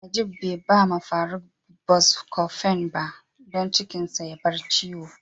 Nageef be da ma Faruk " Buscofen " don cikin da ya bar ciwo.